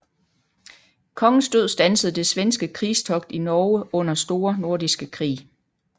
Kongens død standsede det svenske krigstogt i Norge under Store Nordiske Krig